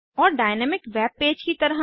और dynamic web page की तरह